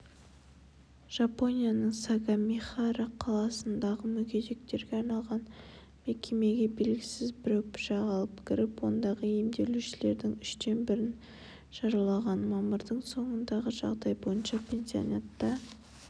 жапонияның сагамихара қаласындағы мүгедектерге арналған мекемеге белгісіз біреу пышақ алып кіріп ондағы емделушілердің үштен бірін жаралаған мамырдың соңындағы жағдай бойынша пансионатта